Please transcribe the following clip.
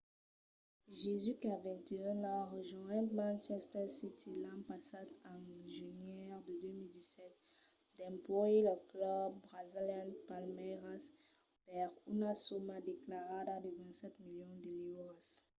jesus qu'a 21 ans rejonhèt manchester city l’an passat en genièr de 2017 dempuèi lo club brasilian palmeiras per una soma declarada de 27 milions de liuras